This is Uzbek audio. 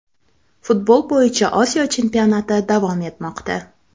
Futbol bo‘yicha Osiyo chempionati davom etmoqda.